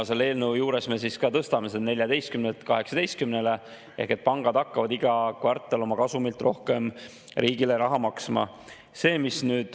Selle eelnõuga me tõstame selle 14-lt 18-le ehk pangad hakkavad iga kvartal oma kasumilt riigile rohkem raha maksma.